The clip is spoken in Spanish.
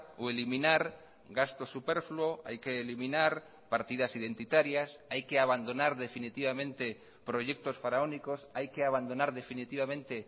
o eliminar gasto superfluo hay que eliminar partidas identitarias hay que abandonar definitivamente proyectos faraónicos hay que abandonar definitivamente